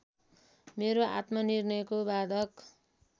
मेरो आत्मनिर्णयको बाधक